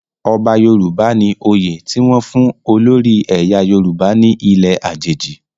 Ọba Yoruba ni oyè ti wọn fun olori ẹyà Yoruba ni ile ajeji